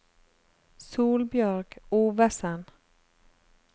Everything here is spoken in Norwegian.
Solbjørg Ovesen